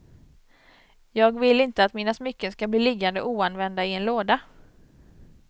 Jag vill inte att mina smycken skall bli liggande oanvända i en låda.